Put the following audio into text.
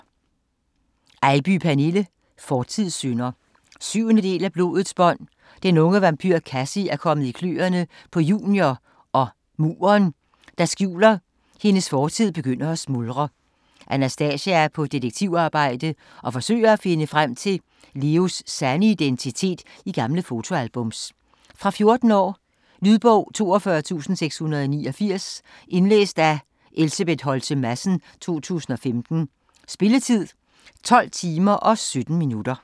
Eybye, Pernille: Fortidssynder 7. del af Blodets bånd. Den unge vampyr Kassie er kommet i kløerne på Junior, og "muren", der skjuler hendes fortid, begynder at smuldre. Anastasia er på detektivarbejde og forsøger at finde frem til Leos sande identitet i gamle fotoalbums. Fra 14 år. Lydbog 42689 Indlæst af Elsebeth Holtze Madsen, 2015. Spilletid: 12 timer, 17 minutter.